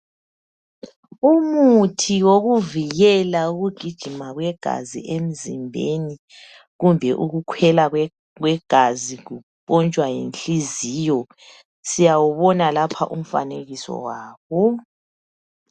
Umuthi wokuvikela ukugijima kwegazi emzimbeni kumbe ukukhwela kwegazi kumpontshwa yinhliziyo. Siyawubona lapha umfanekiso wawo.